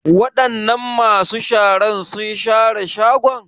Wadanan masu sharar sun share shagon?